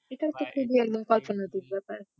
এখানকার ব্যাপার